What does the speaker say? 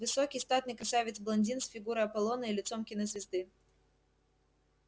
высокий статный красавец-блондин с фигурой аполлона и лицом кинозвезды